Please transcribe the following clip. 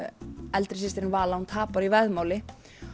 eldri systirin Vala hún tapar í veðmáli